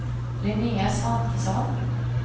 Linnéa Svantesson